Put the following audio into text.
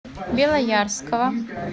белоярского